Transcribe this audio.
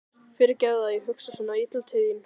Fyrirgefðu að ég hugsa svona illa til þín.